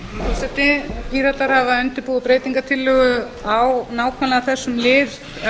forseti píratar hafa undirbúið breytingartillögu á nákvæmlega þessum lið